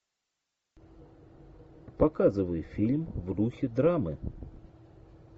показывай фильм в духе драмы